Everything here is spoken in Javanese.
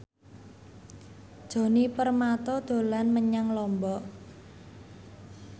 Djoni Permato dolan menyang Lombok